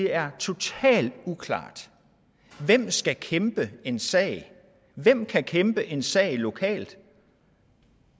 er totalt uklart hvem skal kæmpe en sag hvem kan kæmpe en sag lokalt